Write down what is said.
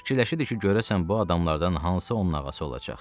Fikirləşirdi ki, görəsən bu adamlardan hansı onun ağası olacaq?